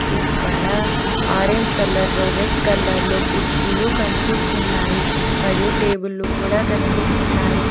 ఇక్కడ ఆరెంజ్ కలర్లో రెడ్ కలర్లో కుర్చీలు కనిపిస్తున్నాయి మరియు టేబుల్లు కూడా కనిపిస్తున్నాయి